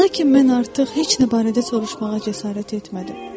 Lakin mən artıq heç nə barədə soruşmağa cəsarət etmədim.